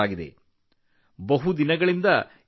ಇದು ಬಹಳ ಸಮಯದಿಂದ ಬಾಕಿಯಿತ್ತು